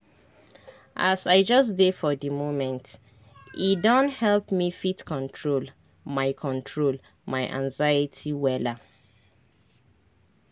as i just dey for di momente don help me fit control my control my anxiety wella.